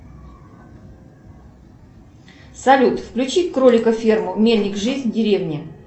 салют включи кролика ферму мельник жизнь в деревне